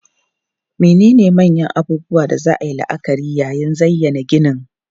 Menene manyan abubuwan da za a yi la'akari yayin zayyana ginin?